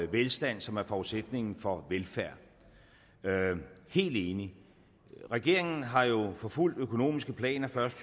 velstand som er forudsætningen for velfærd helt enig regeringen har jo forfulgt økonomiske planer først